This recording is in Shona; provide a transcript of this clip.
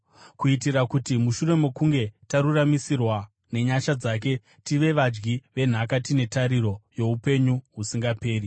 kuitira kuti mushure mokunge taruramisirwa nenyasha dzake, tive vadyi venhaka tine tariro youpenyu husingaperi.